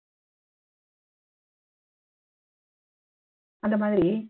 அந்த மாதிரி